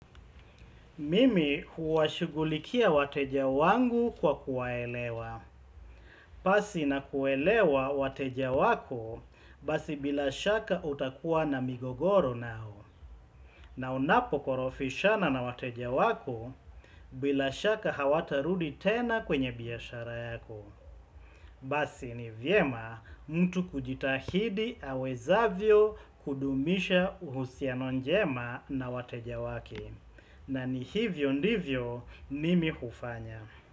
Mimi huwashugulikia wateja wangu kwa kuwaelewa. Pasi na kuelewa wateja wako basi bila shaka utakuwa na migogoro nao. Na unapo korofishana na wateja wako bila shaka hawatarudi tena kwenye biashara yako. Basi ni vyema mtu kujitahidi awezavyo kudumisha uhusiano njema na wateja wake. Na ni hivyo ndivyo mimi hufanya.